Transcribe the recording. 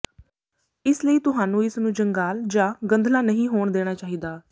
ਇਸ ਲਈ ਤੁਹਾਨੂੰ ਇਸ ਨੂੰ ਜੰਗਾਲ ਜਾਂ ਗੰਧਲਾ ਨਹੀਂ ਹੋਣ ਦੇਣਾ ਚਾਹੀਦਾ